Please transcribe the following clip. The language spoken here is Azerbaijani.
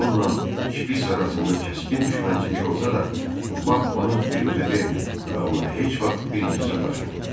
Onunla Şpiç arasında kəskin düşmənçilik olsa da, Bak bunu biruzə vermir və ona heç vaxt birinci sataşmırdı.